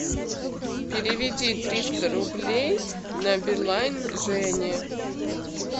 переведи триста рублей на билайн жене